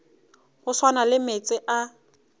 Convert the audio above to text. go swana le meetse a